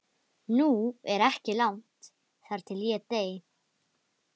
Nú er ekki langt þar til ég dey.